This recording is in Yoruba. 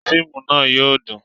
Fíìmù náà yóò dùn